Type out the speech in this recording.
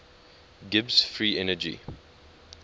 gibbs free energy